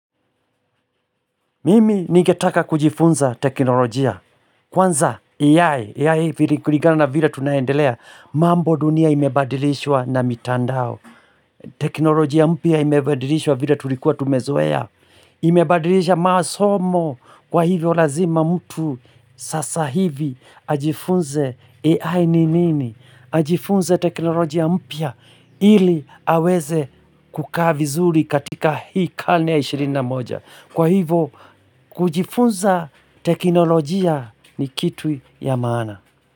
Mimi ningetaka kujifunza teknolojia. Kwanza AI, AI vile kulingana na vile tunaendelea, mambo dunia imebadilishwa na mitandao. Teknolojia mpya imebadilishwa vile tulikuwa tumezoea. Imebadilisha masomo kwa hivyo lazima mtu sasa hivi ajifunze AI ni nini. Ajifunza teknolojia mpya ili aweze kukaa vizuri katika hii karne ya ishirina moja. Kwa hivo kujifunza teknolojia ni kitu ya maana.